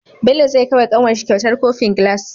Bello zai kawai wa kanwarshi kyautar kofin gilas